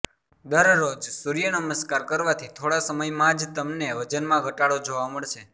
દરરોજ સૂર્યનમસ્કાર કરવાથી થોડા સમયમાં જ તમને વજનમાં ઘટાડો જોવા મળશે